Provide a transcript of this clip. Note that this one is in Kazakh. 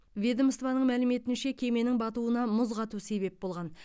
ведомствоның мәліметінше кеменің батуына мұз қату себеп болған